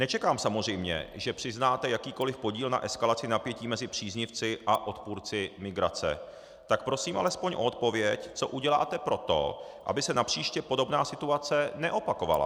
Nečekám samozřejmě, že přiznáte jakýkoli podíl na eskalaci napětí mezi příznivci a odpůrci migrace, tak prosím alespoň o odpověď, co uděláte pro to, aby se napříště podobná situace neopakovala.